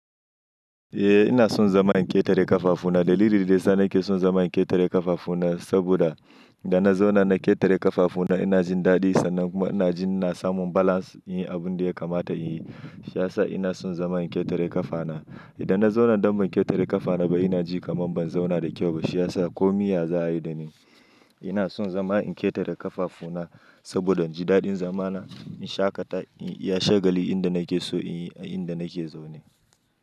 Eh ina son zama in ketare ƙafafu na. Dalilin da ya sa nake son zama in ƙetare ƙafafu na saboda. Idan na zauna na ƙetare ƙafafu na ina jin daɗi sannan kuma ina jin ina samun balance in yi abun da ya kamata in yi. Shi ya sa ina son zama in ƙetare ƙafa na. Idan na zauna don ban ƙetare ƙafana ba ina ji kamar ban zauna da kyau ba shi ya sa komi ya za a yi da ni. Ina son zama in ƙetare ƙafafu na saboda in ji daɗin zama na, in shaƙata, in iya shagali inda nake so in yi, a inda nake zaune.